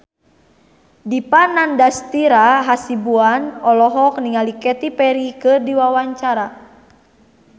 Dipa Nandastyra Hasibuan olohok ningali Katy Perry keur diwawancara